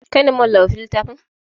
Kai ne mawallafin littafin?